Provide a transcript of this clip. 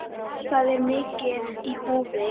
Það er mikið í húfi.